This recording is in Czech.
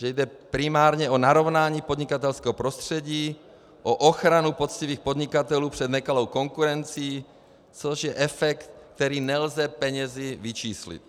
Že jde primárně o narovnání podnikatelského prostředí, o ochranu poctivých podnikatelů před nekalou konkurencí, což je efekt, který nelze penězi vyčíslit.